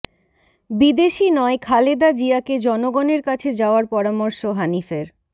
বিদেশি নয় খালেদা জিয়াকে জনগণের কাছে যাওয়ার পরামর্শ হানিফের